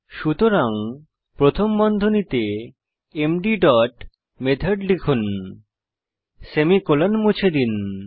সুতরাং প্রথম বন্ধনীতে এমডি ডট মেথড লিখুন সেমিকোলন মুছে দিন